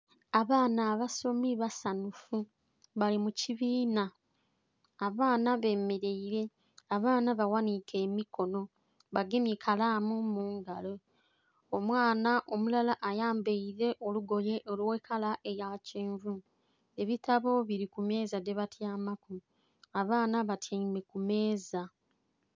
Abaana abasomi basanhufu bali mu kibiina, abaana bemeleire, abaana bawanike emikono bagemye kalamu mu ngalo. Omwana omulala ayambaile olugoye olw'ekala eya kyenvu, ebitabo bili ku meeza dhebatyamaku, abaana batyaime ku meeza.